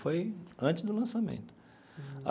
Foi antes do lançamento.